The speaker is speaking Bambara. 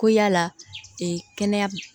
Ko yala ee kɛnɛya